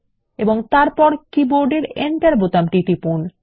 এবং তারপর কীবোর্ড এর এন্টার বোতামটি টিপুন